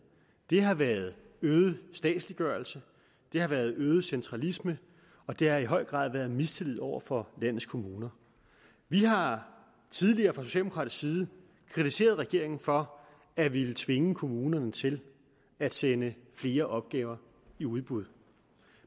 det har været øget statsliggørelse det har været øget centralisme og det har i høj grad været mistillid over for landets kommuner vi har tidligere fra socialdemokratisk side kritiseret regeringen for at ville tvinge kommunerne til at sende flere opgaver i udbud